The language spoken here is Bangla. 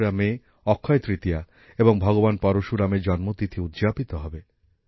তেসরা মে অক্ষয় তৃতীয়া এবং ভগবান পরশুরাম এর জন্মতিথি উদযাপিত হবে